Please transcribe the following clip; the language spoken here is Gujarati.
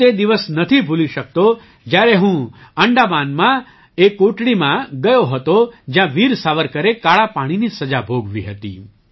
હું તે દિવસ નથી ભૂલી શકતો જ્યારે હું અંડમાનમાં એ કોટડીમાં ગયો હતો જ્યાં વીર સાવરકરે કાળા પાણીની સજા ભોગવી હતી